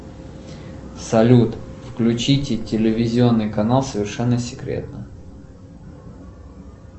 салют включите телевизионный канал совершенно секретно